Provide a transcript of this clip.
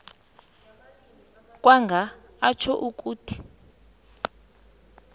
kwanga atjho ukuthi